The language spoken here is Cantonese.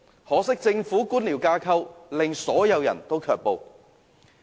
可惜，政府的官僚架構卻令所有廠戶卻步。